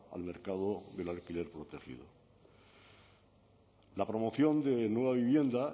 al mercado del alquiler protegido la promoción de nueva vivienda